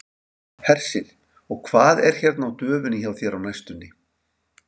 Hersir: Og hvað er hérna á döfinni hjá þér á næstunni?